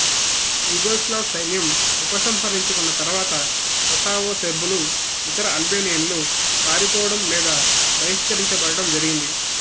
Yugoslav సైన్యం ఉపసంహరించుకున్న తరువాత కొసావో సెర్బులు ఇతర అల్బేనియన్లు పారిపోవడం లేదా బహిష్కరించబడడం జరిగింది